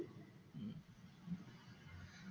ഹും